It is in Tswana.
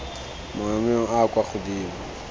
maemong a a kwa godimo